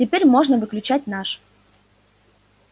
теперь можно выключать наш